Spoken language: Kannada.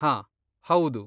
ಹಾ, ಹೌದು.